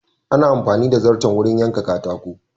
Ana amfani da zarton wurin yaka katako.